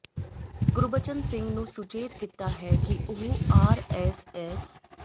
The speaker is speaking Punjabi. ਗੁਰਬਚਨ ਸਿੰਘ ਨੂੰ ਸੁਚੇਤ ਕੀਤਾ ਹੈ ਕਿ ਉਹ ਆਰਐਸਐਸ